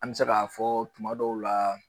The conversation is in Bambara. An mɛ se ka fɔ tuma dɔw la